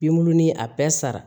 Binbuluni a bɛɛ sara